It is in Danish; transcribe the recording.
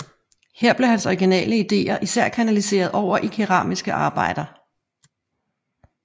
Her blev hans originale ideer især kanaliseret over i keramiske arbejder